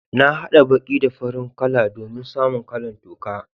Na hada baki da farin kala domin samu kala'n toka.